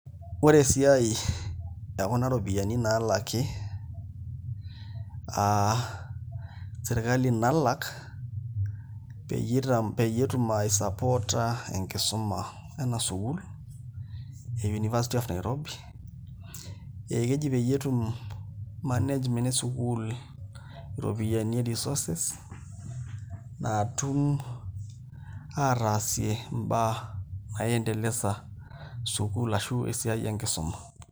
Ore esiai ekuna ropiyiani naalaki aa sirkali peyie etum aisupporta enkusuma ena sukuul e University of Nairobi ekeji peyie etum management e sukuul iropiyiani e resources naatum aataasie imbaa naiendelesa sukuul ashu esiai enkisuma.